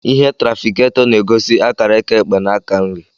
Ìhè tràfikáto na-egosi akara aka ekpe na aka nri